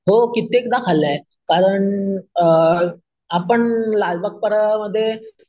हो कित्येकदा खाल्लाय कारण अम आपण लालबाग परळ मध्ये